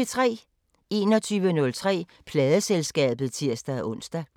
21:03: Pladeselskabet (tir-ons)